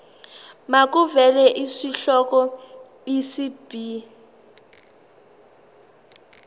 makuvele isihloko isib